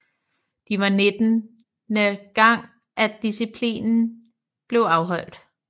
De var nittende gang at disciplinen blev afholdt